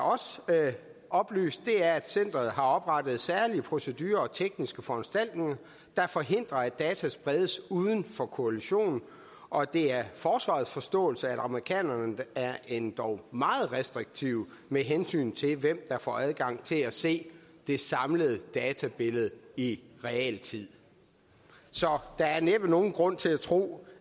oplyst er at centeret har oprettet særlige procedurer og tekniske foranstaltninger der forhindrer at data spredes uden for koalitionen og det er forsvarets forståelse at amerikanerne er endog meget restriktive med hensyn til hvem der får adgang til at se det samlede databillede i realtid så der er næppe nogen grund til at tro